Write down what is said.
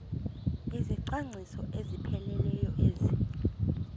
izicwangciso ezipheleleyo ezi